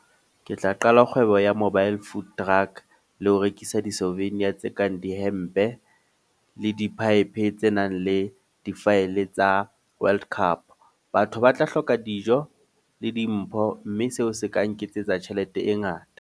Ke tla qala kgwebo ya mobile food truck. Le ho rekisa di-slovenia tse kang di hempe le di-pipe tse nang le di-file tsa World Cup. Batho ba tla hloka dijo, le dimpho. Mme seo se ka nketsetsa tjhelete e ngata.